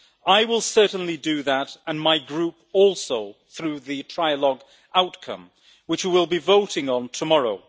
I will certainly do that, and my Group also, through the trilogue outcome, which we will be voting on tomorrow.